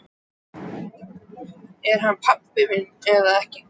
Er hann pabbi minn eða ekki?